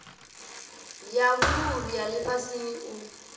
ya vhuluvhi ya lifhasini u